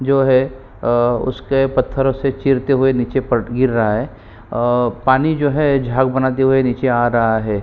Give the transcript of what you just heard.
जो है अअअ उसके पत्थरो से चीरते हुए नीचे पट गिर रहा है पानी जो है झाग बनाते हुए नीचे आ रहा है।